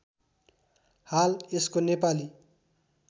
हाल यसको नेपाली